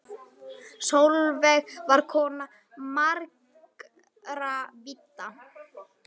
Sólveig var kona margra vídda.